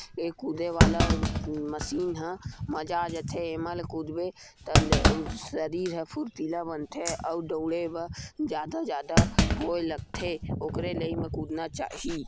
ए कूदे वाला अम्म मशीन ह मजा आ जाथे एमा ले कूदबे त न उ शरीर ह फुर्तीला बनथे अउ दउड़े ब जादा - जादा होए लगथे ओखरे लइ एम कूदना चाही।